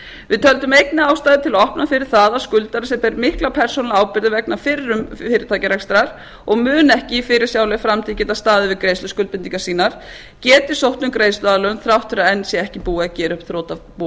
við töldum einnig ástæðu til að opna fyrir það að skuldari sem ber mikla persónulega ábyrgð vegna fyrrum fyrirtækjarekstrar og mun ekki í fyrirsjáanlegri framtíð geta staðið við greiðsluskuldbindingar sínar geti sótt um greiðsluaðlögun þrátt fyrir að enn sé ekki búið að gera upp þrotabú